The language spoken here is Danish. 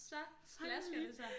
Så flasker det sig